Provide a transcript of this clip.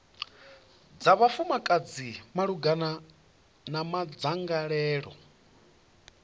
dza vhafumakadzi malugana na madzangalelo